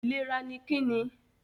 Ìlera ni Kí ni?